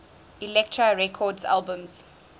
elektra records albums